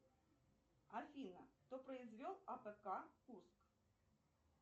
афина кто произвел апк курск